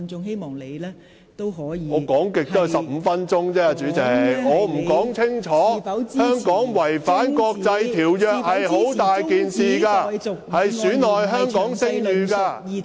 代理主席，我最多只可發言時間15分鐘，香港違反國際條約是很嚴重的事，會令香港的聲譽受損......